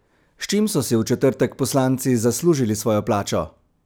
S čim so si v četrtek poslanci zaslužili svojo plačo?